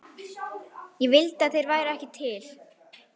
Ég vildi að þeir væru ekki til.